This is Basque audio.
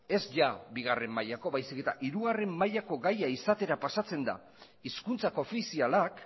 ez jada bigarren mailakoa baizik eta hirugarren mailako gaia izatera pasatzen da hizkuntza koofizialak